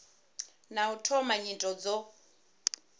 na u thoma nyito dzo